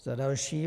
Za další.